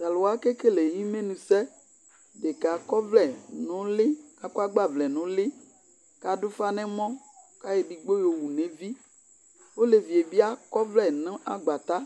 to alo wa ke kele imenu sɛ deka akɔ ɔvlɛ no uli akɔ agbavlɛ no uli ko ado ufa no ɛmɔ ko ayɔ edigbo yowu no evi olevie bi akɔ ɔvlɛ no agbatɛ